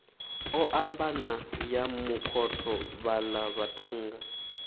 ombana ya makhotho vhaḽa vhaṱhannga